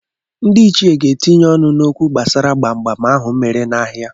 Ndị ichie ga-etinye ọnụ n'okwu gbasara kpamkpam ahụ mere n'ahịa.